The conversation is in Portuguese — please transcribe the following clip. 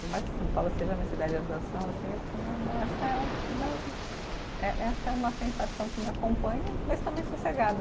Por mais que São Paulo seja minha cidade de adoção, assim eu né né, essa é uma sensação que me acompanha, mas também sossegada.